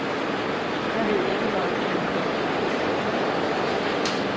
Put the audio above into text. Jeg ved ikke, hvad opgaven gik ud på.